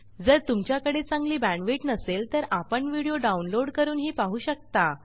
जर तुमच्याकडे चांगली बॅण्डविड्थ नसेल तर आपण व्हिडिओ डाउनलोड करूनही पाहू शकता